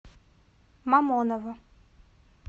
мамоново